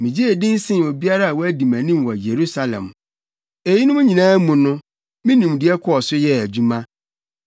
Migyee din sen obiara a wadi mʼanim wɔ Yerusalem. Eyinom nyinaa mu no me nimdeɛ kɔɔ so yɛɛ adwuma.